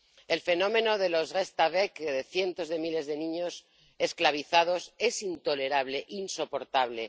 El fenómeno de los restaveks —cientos de miles de niños esclavizados— es intolerable, insoportable.